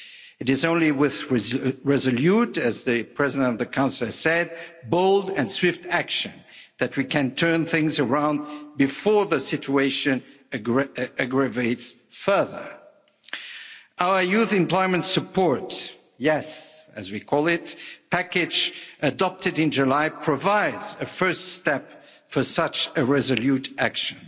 It is only with resolute, as the President of the Council has said, bold and swift action that we can turn things around before the situation aggravates further. Our youth employment support YES, as we call it package adopted in July provides a first step for such a resolute action.